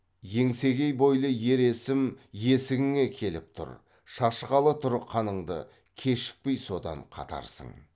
еңсегей бойлы ер есім есігіңе келіп тұр шашқалы тұр қаныңды кешікпей содан қатарсың